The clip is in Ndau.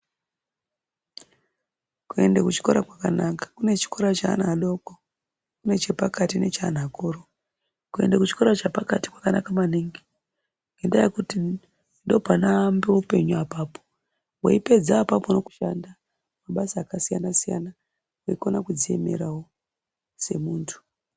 Kuende kuchikora kwakanaka kune chikora cheana adoko kune chekati nechanhu akuru ,kuenda kuchikoro chepakati kwakanaka maningi ngenda yekuti ndopanoanoambe upenyu apapo weipedza apapo nekushanda mabasa akasiyanasiyana nekukona kudziemerawo semuntu.